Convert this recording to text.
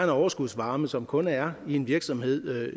overskudsvarme som kun er i en virksomhed